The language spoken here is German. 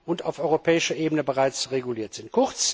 und auf europäischer Ebene bereits reguliert sind.